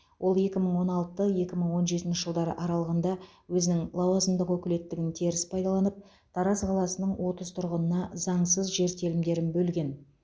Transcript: ол екі мың он алты екі мың он жетінші жылдар аралығында өзінің лауазымдық өкілеттігін теріс пайдаланып тараз қаласының отыз тұрғынына заңсыз жер телімдерін бөлген